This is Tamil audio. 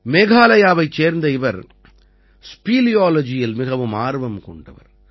மேகாலயாவைச் சேர்ந்த இவர் ஸ்பீலியாலஜியில் மிகுந்த ஆர்வம் கொண்டவர்